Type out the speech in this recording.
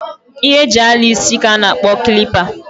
Ihe e ji ala isi ka a na-akpo kilipa.